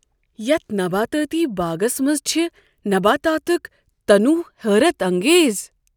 یتھ نباتاتی باغس منٛز چھ نباتاتک تنوع حیرت انگیز۔